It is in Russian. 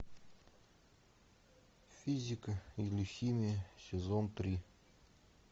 физика или химия сезон три